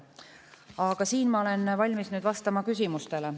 Aga ma olen nüüd valmis vastama küsimustele.